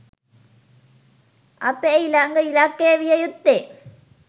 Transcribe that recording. අපේ ඊළඟ ඉලක්කය විය යුත්තේ